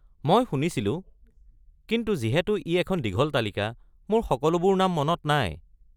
মই শুনিছিলো, কিন্তু যিহেতু ই এখন দীঘল তালিকা, মোৰ সকলোবোৰ নাম মনত নাই।